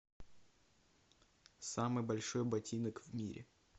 самый большой ботинок в мире